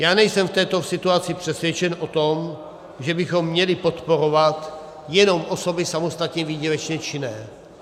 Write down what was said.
Já nejsem v této situaci přesvědčen o tom, že bychom měli podporovat jenom osoby samostatně výdělečně činné.